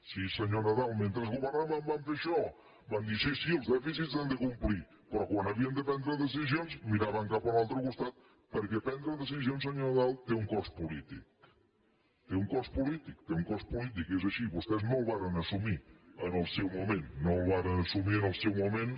sí senyor nadal mentre governaven van fer això van dir sí sí els dèficits s’han de complir però quan havien de prendre decisions miraven cap a un altre costat perquè prendre decisions senyor nadal té un cost polític té un cost polític té un cost polític és així i vostès no el varen assumir en el seu moment no el varen assumir en el seu moment